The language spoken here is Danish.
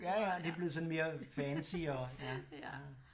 Ja ja det er blevet sådan mere fancy og ja